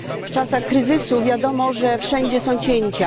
W czasach kryzysu wiadomo, że wszędzie są cięcia.